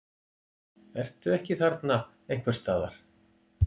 Ertu ekki þarna einhvers staðar?